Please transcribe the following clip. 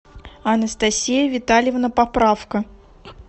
анастасия витальевна поправко